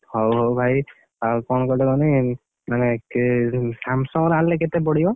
ହଉ ହଉ ଭାଇ, ଆଉ କଣ କୁହତେ କହନି, ମାନେ କେ Samsung ର ଆଣିଲେ କେତେ ପଡିବ?